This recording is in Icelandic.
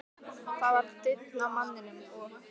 Það var daunn af manninum, og